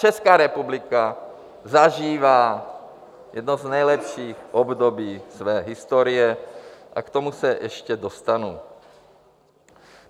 Česká republika zažívá jedno z nejlepších období své historie - a k tomu se ještě dostanu.